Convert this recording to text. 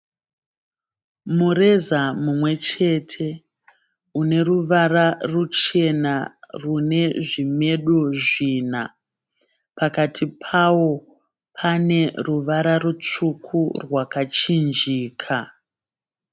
Mureza mumwe chete une ruvara ruchena rune zvimedu zvina. Pakati pawo pane ruvara rutsvuku rwakachinjika.